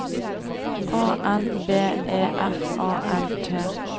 A N B E F A L T